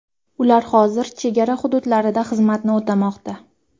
Ular hozir chegara hududlarida xizmatni o‘tamoqda.